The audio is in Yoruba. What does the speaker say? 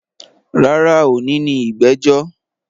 Rárá, òní ni ìgbẹ́jọ́